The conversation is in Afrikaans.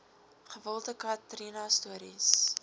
gewilde katrina stories